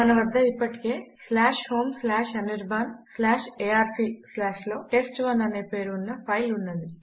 మన వద్ద ఇప్పటికే homeanirbanarc లో టెస్ట్1 అనే పేరు ఉన్న ఫైల్ ఉన్నది